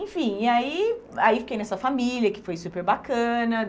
Enfim, e aí, aí fiquei nessa família que foi super bacana.